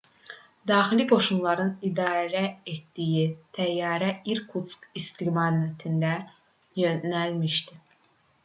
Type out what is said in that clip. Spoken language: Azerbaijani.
daxili qoşunların idarə etdiyi təyyarə i̇rkutsk istiqamətində yönəlmişdi